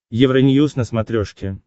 евроньюз на смотрешке